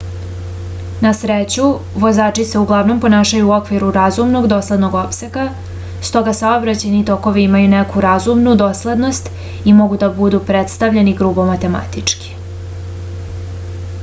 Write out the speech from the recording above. na sreću vozači se uglavnom ponašaju u okviru razumnog doslednog opsega stoga saobraćajni tokovi imaju neku razumnu doslednost i mogu da budu predstavljeni grubo matematički